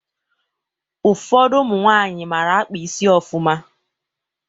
Ụfọdụ ụmụ nwaanyị mara akpa isi ofụma